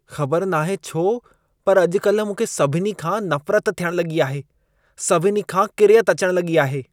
ख़बर नाहे छो, पर अॼु कल्ह मूंखे सभिनी खां नफ़रत थियण लॻी आहे। सभिनी खां किरियत अचण लॻी आहे।